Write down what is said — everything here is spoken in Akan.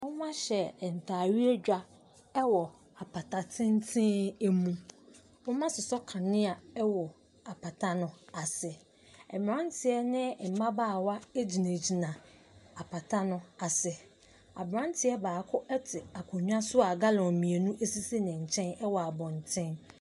Wɔahyɛ ntadeɛ dwa wɔ apata tenten mu. Wɔasosɔ kanea wɔ apata no ase. Mmeranteɛ ne mmabaawa gyinagyina apata no ase. Aberanteɛ baako te akonnwa so a gallonmmienu sisi ne nkyɛn wɔ abɔntene.